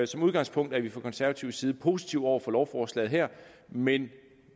som udgangspunkt er vi fra konservativ side positive over for lovforslaget her men